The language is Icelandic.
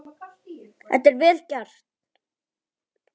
Þetta er vel gert.